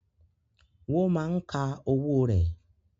Woma ń ka owó rẹ̀